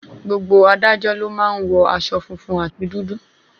Gbogbo adájọ́ ló má ń wọ aṣọ funfun àti dúdú.